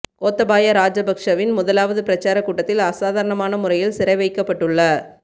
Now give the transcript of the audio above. கோத்தபாய ராஜபக்சவின் முதலாவது பிரசார கூட்டத்தில் அசாதாரணமான முறையில் சிறை வைக்கப்பட்டுள்ள